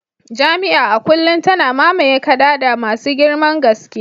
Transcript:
Jami'a a kullum tana mamaye kadada masu girman gaske